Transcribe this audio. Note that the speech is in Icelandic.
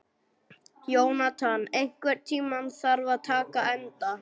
Jónatan, einhvern tímann þarf allt að taka enda.